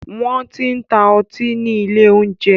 Wọn kì ń ta ọtí ni ilé oúnjẹ